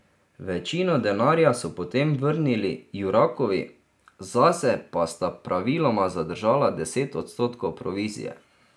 Večino denarja so potem vrnili Jurakovi, zase pa sta praviloma zadržala deset odstotkov provizije.